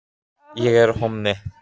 Bambus, er bolti á sunnudaginn?